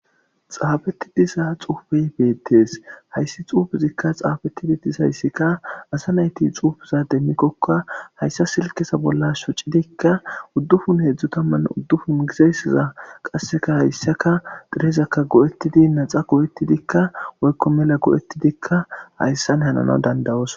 Xaafetti diza xufeyi betees.hayiss xuufezikka xaafeti dizayissikka asa nayitti xuufeza demikoka hayissa silikeza bolla shoocidikka udupun hedzdzu taman udupun Gizayissaza qasekka hayissakka tirezakka go'etidi woyikko naxxa go'etiddikka